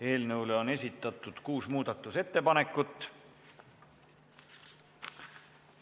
Eelnõu kohta on esitatud kuus muudatusettepanekut.